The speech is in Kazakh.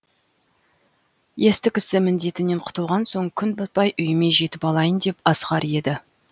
есті кісі міндетінен құтылған соң күн батпай үйіме жетіп алайын деп асығар еді